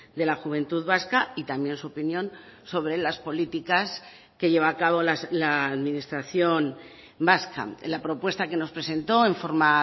de la juventud vasca y también su opinión sobre las políticas que lleva a cabo la administración vasca la propuesta que nos presentó en forma